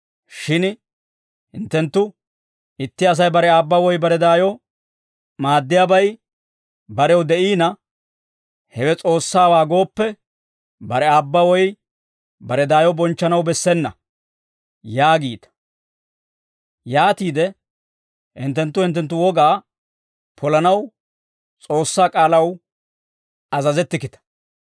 Shin hinttenttu, ‹Itti Asay bare aabba woy bare daayo maaddiyaabay barew de'iina, Hewe S'oossaawaa gooppe, bare aabba woy bare daayo bonchchanaw bessena› yaagiita; yaatiide hinttenttu hinttenttu wogaa polanaw S'oossaa k'aalaw azazettikkita.